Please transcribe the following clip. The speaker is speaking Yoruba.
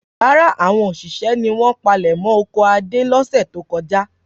Rárá, àwọn òṣìṣẹ́ ni wọ́n palẹ̀mọ́ oko Adé lọ́sẹ̀ tó kọjá.